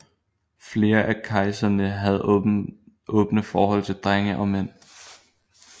Flere af kejserne havde åbne forhold til drenge og mænd